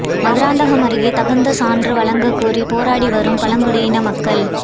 மதுராந்தகம் அருகே தகுந்த சான்று வழங்க கோரி போராடி வரும் பழங்குடியின மக்கள்